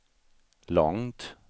långt